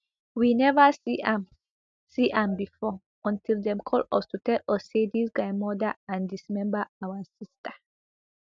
we neva see am see am bifor until dem call us to tell us say dis guy murder and dismember our sister